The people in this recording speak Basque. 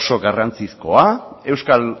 oso garrantzizkoa euskal